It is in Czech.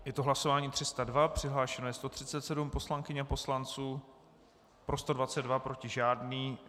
Je to hlasování 302, přihlášeno je 137 poslankyň a poslanců, pro 122, proti žádný.